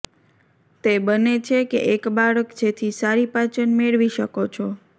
તે બને છે કે એક બાળક જેથી સારી પાચન મેળવી શકો છો